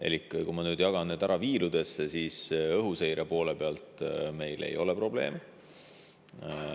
Elik kui ma nüüd jagan selle ära viirudesse, siis õhuseire poole pealt meil ei ole probleeme.